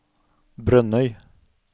Brønnøy